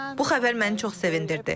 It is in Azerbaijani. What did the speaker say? Bu xəbər məni çox sevindirdi.